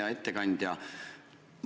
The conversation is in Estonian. Hea ettekandja!